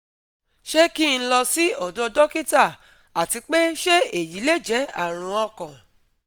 Se ki n lo si odo dokita ati pe se eyi le je arun okan?